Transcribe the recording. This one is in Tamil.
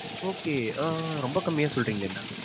okay ஆஹ் ரொம்ப கம்மியா சொல்றீங்களே ma'am.